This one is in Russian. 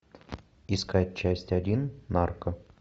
искать часть один нарко